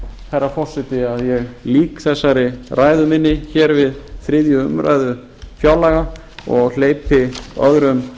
herra forseti að ég lýk þessari ræðu minni hér við þriðju umræðu fjárlaga og hleypi öðrum